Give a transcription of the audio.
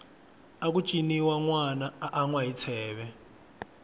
aku ciniwa nwana a anwa hi tsheve